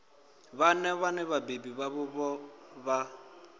vhana vhane vhabebi vhavho vha